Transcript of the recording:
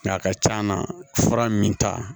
Nga a ka c'a na fura min ta